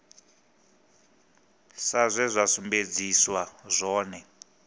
sa zwe zwa sumbedziswa zwone